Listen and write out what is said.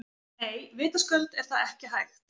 Nei, vitaskuld er það ekki hægt.